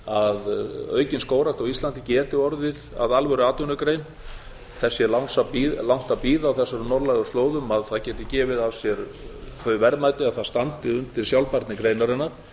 að aukin skógrækt á íslandi geti orðið að alvöru atvinnugrein þess sé langt að bíða á þessum norðlægu slóðum að það geti gefið af sér þau verðmæti að það standi undir sjálfbærni greinarinnar